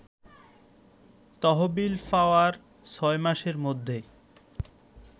তহবিল পাওয়ার ৬ মাসের মধ্যে